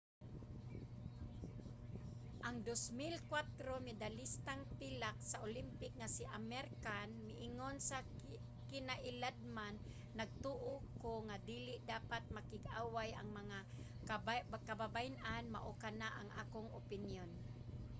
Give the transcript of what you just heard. ang 2004 medalistang pilak sa olympic nga si amir khan miingon sa kinailadman nagtoo ko nga dili dapat makig-away ang mga kababayen-an. mao kana ang akong opinyon.